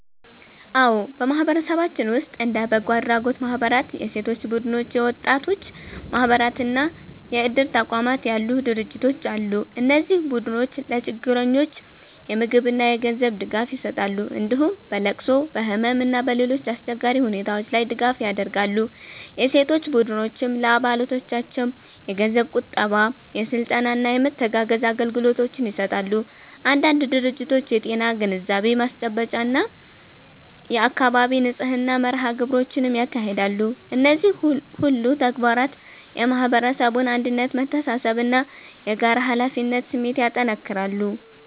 አዎ፣ በማህበረሰባችን ውስጥ እንደ በጎ አድራጎት ማህበራት፣ የሴቶች ቡድኖች፣ የወጣቶች ማህበራት እና የእድር ተቋማት ያሉ ድርጅቶች አሉ። እነዚህ ቡድኖች ለችግረኞች የምግብና የገንዘብ ድጋፍ ይሰጣሉ፣ እንዲሁም በለቅሶ፣ በህመም እና በሌሎች አስቸጋሪ ሁኔታዎች ላይ ድጋፍ ያደርጋሉ። የሴቶች ቡድኖችም ለአባሎቻቸው የገንዘብ ቁጠባ፣ የስልጠና እና የመተጋገዝ አገልግሎቶችን ይሰጣሉ። አንዳንድ ድርጅቶች የጤና ግንዛቤ ማስጨበጫ እና የአካባቢ ንጽህና መርሃ ግብሮችንም ያካሂዳሉ። እነዚህ ሁሉ ተግባራት የማህበረሰቡን አንድነት፣ መተሳሰብ እና የጋራ ኃላፊነት ስሜት ያጠናክራሉ።